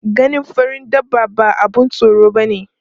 Ganin farin dabba ba abun tsoro bane.